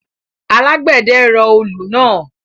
Alágbẹ̀dẹ rọ olù náà